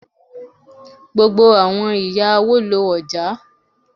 Gbogbo àwọn ìyá awo lo ọ̀já.